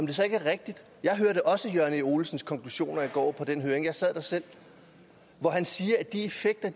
det så ikke rigtigt jeg hørte også jørgen e olesens konklusioner i går på den høring for jeg sad der selv at han sagde at de effekter